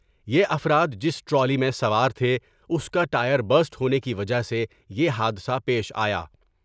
یہ افراد جس ٹرالی میں سوار تھے اس کا ٹائر بسٹ ہونے کی وجہ سے یہ حادثہ پیش آیا ۔